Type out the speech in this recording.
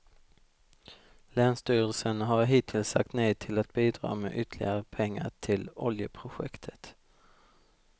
Länsstyrelsen har hittills sagt nej till att bidra med ytterligare pengar till oljeprojektet.